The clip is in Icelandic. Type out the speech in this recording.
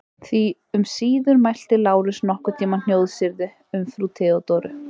Því um síður mælti Lárus nokkurn tíma hnjóðsyrði um frú Theodóru.